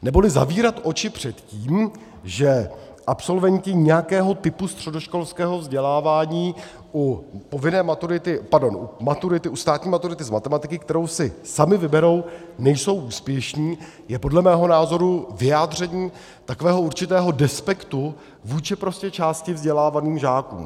Neboli zavírat oči před tím, že absolventi nějakého typu středoškolského vzdělávání u státní maturity z matematiky, kterou si sami vyberou, nejsou úspěšní, je podle mého názoru vyjádření takového určitého despektu vůči prostě části vzdělávaných žákům.